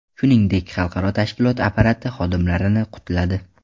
Shuningdek, xalqaro tashkilot apparati xodimlarini qutladi.